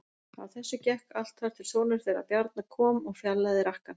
Á þessu gekk allt þar til sonur þeirra Bjarna kom og fjarlægði rakkann.